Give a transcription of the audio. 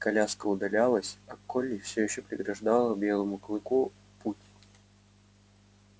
коляска удалялась а колли всё ещё преграждала белому клыку путь